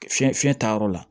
Fiɲɛ fiɲɛ taa yɔrɔ la